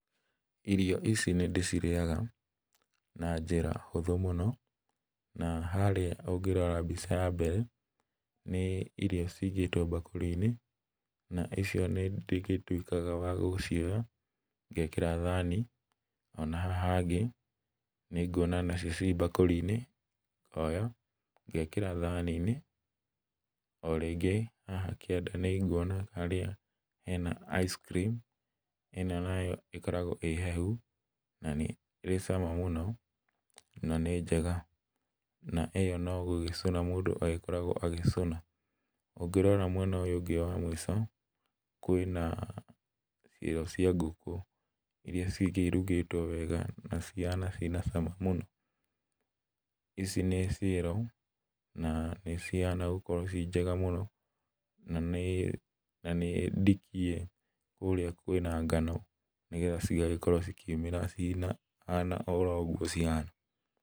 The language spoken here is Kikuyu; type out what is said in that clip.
Irio ici nĩndĩcirĩaga, na njĩra hũthũ mũno, na harĩa ũngĩrora mbica ya mbere, nĩ irio cigĩtwo bakũri-inĩ, na icio nĩ ndĩgĩtwĩkaga wa gũcioya, ngekĩra thani-inĩ, ona haha thĩ, nĩnguona nacio ci mbakũri-inĩ, ngonya, ngekĩra thani-inĩ, orĩngĩ, haha kĩanda nĩnguona harĩa hea ice cream ĩno nayo ĩkoragwo ĩ hehu, na nĩrĩ cama mũno, na nĩ njega, na ĩyo nogũcuna mũndũ agĩkoragwo agĩcũna, ũngĩrora mwena ũyũ ũngĩ wa mbica, kwĩna ciero cia ngũkũ, iria cingĩ irugĩtwo wega, na cihana cina cama mũno, ici nĩ ciero, na nĩcihana gũkorwo ciĩ njega mũno, na nĩ, na nĩndikie kũrĩa kwĩna ngano, nĩgetha cigagĩkorwo cikiumĩra ciĩna hana o ũguo cihana.